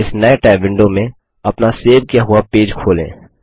अब इस नये टैब विंडो में अपना सेव किया हुआ पेज खोलें